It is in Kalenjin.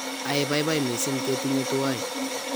aibabibai mising' ketinye tuwai